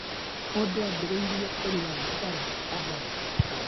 Mũndũ ambĩrĩria kũnyua thigara kahora kahora.